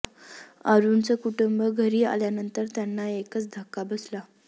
अरुणचं कुटुंब घरी आल्यानंतर त्यांना एकच धक्का बसला